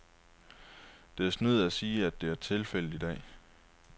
Det er synd at sige, at det er tilfældet i dag.